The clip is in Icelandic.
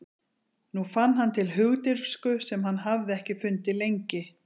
Nú fann hann til hugdirfsku sem hann hafði ekki fundið lengi.